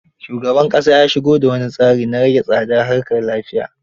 Shugaban ƙasa ya sigo da wani tsari na rahe tsadar harkar lafiya